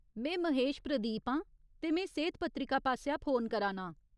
में महेश प्रदीप आं, ते में सेह्त पत्रिका पासेआ फोन करा नां।